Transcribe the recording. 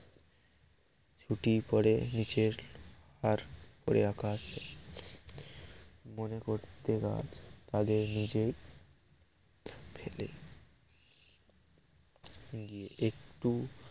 ছুটি পরে নিচের আর উপরে আকাশ মনে করতে গাছ আগে নিজেই ফেলে গিয়ে একটু